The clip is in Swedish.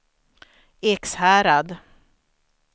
Ekshärad